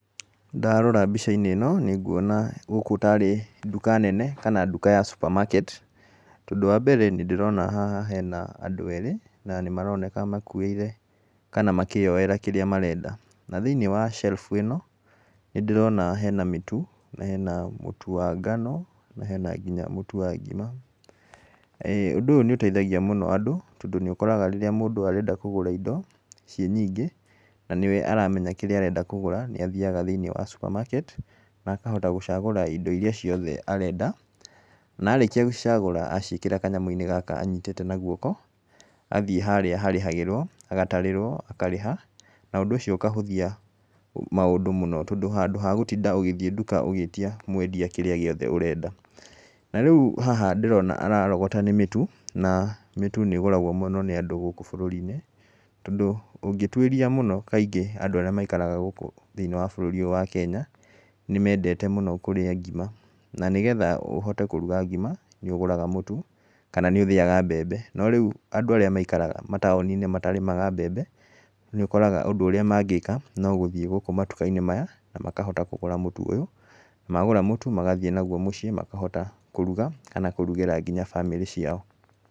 Ndarora mbica-inĩ ĩno nĩ nguona gũkũ tarĩ nduka nene, kana nduka ya supermarket, tondũ wa mbere nĩ ndĩrona haha hena andũ erĩ na maroneka makuĩire kana makĩyoera kĩrĩa marenda, na thĩiniĩ wa shelf ĩno nĩ ndĩrona hena mĩtu, hena mũtu wa ngano na hena nginya mũtu wa ngima, ũndũ ũyũ nĩ ũteithagia mũno andũ, tondũ nĩ ũkoraga rĩrĩa mũndũ arenda kũgũra indo ciĩ nyingĩ na nĩwe aramenya kĩrĩa arenda kũgũra, nĩ athiaga thĩiniĩ wa supermarket na akahota gũcagũra indo iria ciothe arenda, na arĩkia gũcagũra aciĩkĩra kanyamũ-inĩ gaka anyitĩte na guoko, athiĩ harĩa harĩhagĩrwo agatarĩrwo akarĩha, na ũndũ ũcio ũkahũthia maũndũ mũno, tondũ ha gũtinda ũgĩthiĩ nduka ũgĩĩtia mwendia kĩrĩa giothe ũrenda, na rĩu haha ndĩrona ararogota nĩ mĩtu na mĩtu nĩ ĩgũragwo mũno nĩ andũ gũkũ bũrũri-inĩ , tondũ ũngĩtuĩria mũno kaingĩ andũ arĩa maikaraga gũkũ thĩiniĩ wa bũrũri ũyũ wa Kenya, nĩ mendete mũno kũrĩa ngima, na nĩgetha ũhote kũrĩa ngima nĩ ũgũraga mũtu kana nĩ ũthĩaga mbembe, no rĩu andũ arĩa maikaraga mataũni-inĩ matarĩmaga mbembe, nĩ ũkoraga ũndũ ũrĩa mangĩĩka no gũthiĩ gũkũ matuka-inĩ maya, na makahota kũgũra mũtu ũyũ, magũra mũtu magathiĩ mũciĩ makahota kũruga, kana kũrugĩra nginya bamĩrĩ ciao.